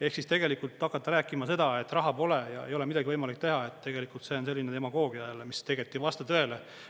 Ehk siis tegelikult hakata rääkima seda, et raha pole ja ei ole midagi võimalik teha, tegelikult see on selline demagoogia jälle, mis tegelikult ei vasta tõele.